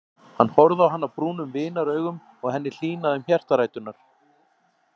Hann horfði á hana brúnum vinaraugum og henni hlýnaði um hjartaræturnar.